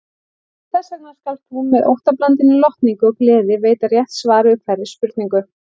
Þessvegna skalt þú með óttablandinni lotningu og gleði veita rétt svar við hverri spurningu.